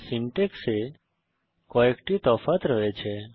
syntax এ কয়েকটি তফাৎ রয়েছে